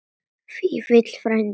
Vífill frændi.